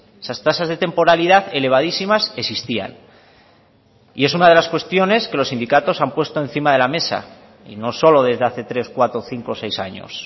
esas tasas de temporalidad elevadísimas existían y es una de las cuestiones que los sindicatos han puesto encima de la mesa y no solo desde hace tres cuatro cinco seis años